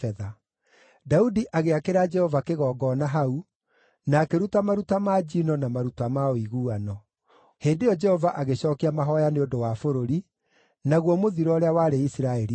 Daudi agĩakĩra Jehova kĩgongona hau, na akĩruta maruta ma njino na maruta ma ũiguano. Hĩndĩ ĩyo Jehova agĩcookia mahooya nĩ ũndũ wa bũrũri, naguo mũthiro ũrĩa warĩ Isiraeli ũgĩthira.